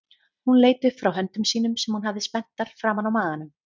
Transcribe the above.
Hún leit upp frá höndum sínum sem hún hafði spenntar framan á maganum.